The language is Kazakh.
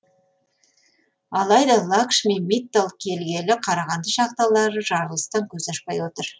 алайда лакшми миттал келгелі қарағанды шахталары жарылыстан көз ашпай отыр